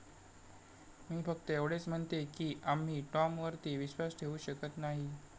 मी फक्त एवढंच म्हणतेय की आम्ही टॉमवरती विश्वास ठेवू शकत नाही.